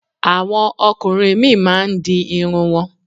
Àwọn ọkùnrin míì máa ń di irun wọn.